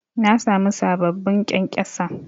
Na sami sababbin ƙyankyasa